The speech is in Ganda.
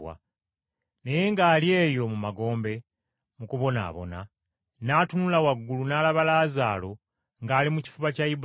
Naye ng’ali eyo mu magombe mu kubonaabona, n’atunula waggulu n’alaba Laazaalo ng’ali mu kifuba kya Ibulayimu.